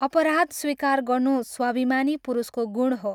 अपराध स्वीकार गर्नु स्वाभिमानी पुरुषको गुण हो।